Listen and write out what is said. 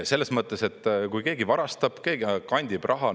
Selles mõttes, et kui keegi varastab, keegi kandib raha …